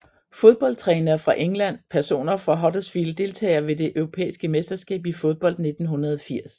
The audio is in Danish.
Fodboldtrænere fra England Personer fra Huddersfield Deltagere ved det europæiske mesterskab i fodbold 1980